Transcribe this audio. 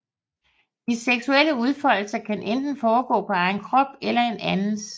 De seksuelle udfoldelser kan enten foregå på egen krop eller en andens